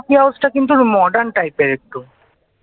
coffee হাউসটা কিন্তু modern type র একটু